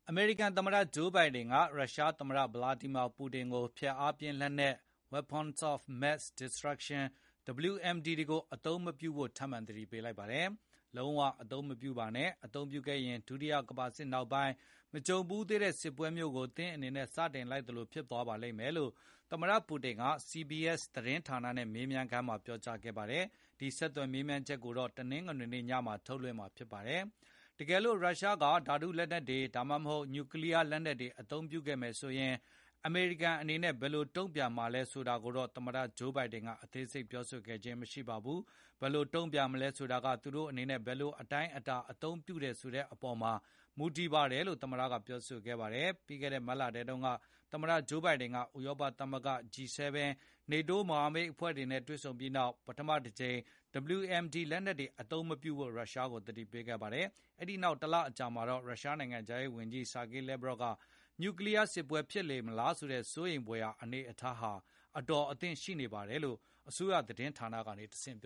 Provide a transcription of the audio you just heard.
အမေရိကန်သမ္မတ Joe Biden က ရုရှားသမ္မတ Vladimir Putin ကို ဖျက်အားပြင်း လက်နက် Weapons of Mass Destruction (WMD) တွေကိုအသုံးမပြုဖို့ ထပ်မံသတိပေးလိုက်ပါတယ်။ “လုံးဝအသုံးမပြုပါနဲ့။ အသုံးပြုခဲ့ရင် ဒုတိယကမ္ဘာစစ်နောက်ပိုင်း မကြုံဖူးသေးတဲ့စစ်ပွဲမျိုးကို စတင်လိုက်သလိုဖြစ်သွားပါမယ်” လို့သမ္မတ Putin က CBS သတင်းဌာနနဲ့ မေးမြန်းခန်းမှာ ပြောကြားခဲ့တာပါ။ ဒီဆက်သွယ် မေးမြန်းချက်ကို တနင်္ဂနွေည မှာ ထုတ်လွှင့်မှာ ဖြစ်ပါတယ်။ တကယ်လို့ ရုရှားက ဓာတုလက်နက်တွေ ဒါမှမဟုတ် နျူကလီးယား လက်နက်တွေ အသုံးပြုမယ်ဆိုရင် အမေရိကန်အနေနဲ့ ဘယ်လို့တုံ့ပြန်မှာလဲဆိုတာကိုတော့ သမတ Joe Biden က အသေးစိပ်ပြောဆိုခဲ့ခြင်းမရှိပါဘူး။ “ဘယ်လိုတုံ့ပြန်မလဲဆိုတာက သူတို့အနေနဲ့ ဘယ်လိုအတိုင်းအတာအသုံးပြုတယ်၊ ဆိုတဲ့အပေါ် မူတည်ပါတယ်လို”့ သမတပြောဆိုပါတယ်။ ပြီးခဲ့တဲ့ မတ်လထဲကလည်း သမတ Joe Biden က ဥရောပသမဂ္ဂ၊ G7 နဲ့ NATO မဟာမိတ်တွေနဲ့ တွေ့ဆုံခဲ့ပြီးနောက် ပထမတကြိမ် WMD လက်နက်တွေ အသုံးမပြုဖို့ သတိပေးခဲ့ပါတယ်။ နောက်တလ အကြာမှာတော့ ရုရှားနိုင်ငံခြားရေးဝန်ကြီး Sergey Lavrov က နျူကလီးယားစစ်ပွဲ ဖြစ်လေမလားဆိုတဲ့ စိုးရိမ်ဘွယ်ရာ အနေအထားဟာ အတော်သင့်ရှိနေပါတယ်လို့ အစိုးရသတင်းဌာကနေ တဆင့်ပြ